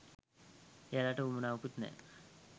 එයාලට උවමනාවකුත් නෑ